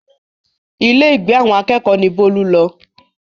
Ilé ìgbé àwọn akẹ́kọ̀ọ́ ni Bólú lọ